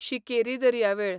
शिकेरी दर्यावेळ